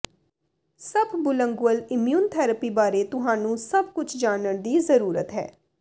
ਸਬਬੁਲੰਗੂਅਲ immunotherapy ਬਾਰੇ ਤੁਹਾਨੂੰ ਸਭ ਕੁਝ ਜਾਣਨ ਦੀ ਜ਼ਰੂਰਤ ਹੈ